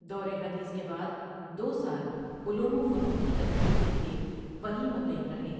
درود حدیث کے بعد دو سال علوم وفنون کی تکمیل کے لیے وہیں مقیم رہے ۔